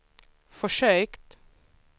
försökt